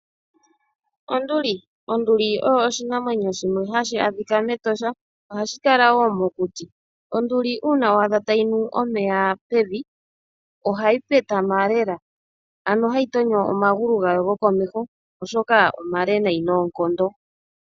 Onduli. Onduli oyo oshinamwenyo shimwe hashi adhika mEtosha. Ohashi kala wo mokuti. Onduli uuna wa adha tayi nu omeya pevi, ohayi petama lela, ano hayi tonyo omagulu gayo gokomeho oshoka omale nayi.